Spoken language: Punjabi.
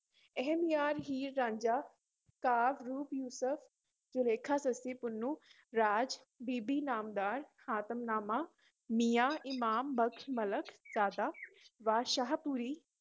ਅਹਿਮਯਾਰ ਹੀਰ ਰਾਂਝਾ, ਕਾਵਿ ਰੂਪ ਯੂਸਫ਼ ਜੁਲੈਖਾਂ, ਸੱਸੀ ਪੁੰਨੂ, ਰਾਜ ਬੀਬੀ ਨਾਮਦਾਰ, ਹਾਤਮਨਾਮਾ, ਮੀਆਂ ਇਮਾਮ ਬਖ਼ਸ਼ ਮਲਕ ਜ਼ਾਦਾ ਵਾ ਸ਼ਾਹਪੁਰੀ